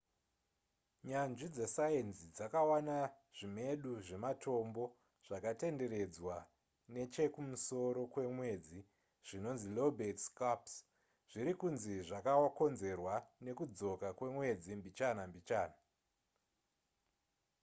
nyanzvi dzesainzi dzakawana zvimedu zvematombo zvakatenderedzwa nechekumusoro kwemwedzi zvinonzi lobate scarps zviri kunzi zvakakonzerwa nekudzoka kwemwedzi mbichana mbichana